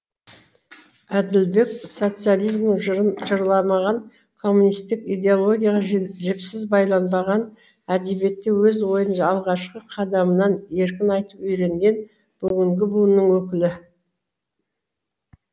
әділбек социализмнің жырын жырламаған коммунистік идеологияға жіпсіз байланбаған әдебиетте өз ойын алғашқы қадамнан еркін айтып үйренген бүгінгі буынның өкілі